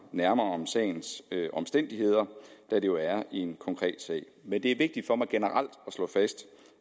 nærmere om sagens omstændigheder da det jo er en konkret sag men det er vigtigt for mig generelt at slå fast